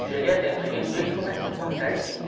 E cheguei a tempo, cheguei no dia que começou, certinho.